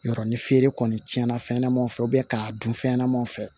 Yɔrɔ ni feere kɔni tiɲɛna fɛnɲɛnamaniw fɛ k'a dun fɛn ɲɛnamaw fɛ